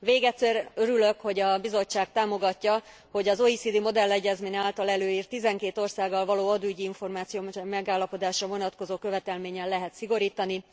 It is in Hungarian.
Végezetül örülök, hogy a Bizottság támogatja, hogy az OECD modellegyezmény által előírt, 12 országgal való adóügyi információ megállapodásra vonatkozó követelményen lehet szigorítani.